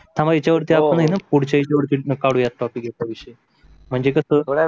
थांबा याच्या वरती आपण पुढच्या एक तरीप वरती कादुया topic याच्या वरती एके दिवशी. म्हणजे